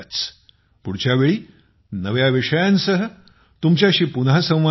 पुढच्या वेळी नव्या विषयांसह तुमच्याशी पुन्हा संवाद होईल